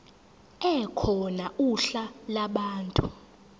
ekhona uhla lwabantu